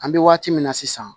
An bɛ waati min na sisan